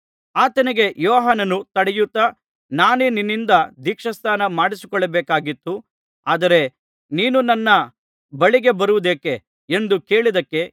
ಆತನಿಗೆ ಯೋಹಾನನು ತಡೆಯುತ್ತಾ ನಾನೇ ನಿನ್ನಿಂದ ದೀಕ್ಷಾಸ್ನಾನ ಮಾಡಿಸಿಕೊಳ್ಳಬೇಕಾಗಿತ್ತು ಆದರೆ ನೀನು ನನ್ನ ಬಳಿಗೆ ಬರುವುದೇಕೆ ಎಂದು ಹೇಳಿದಕ್ಕೆ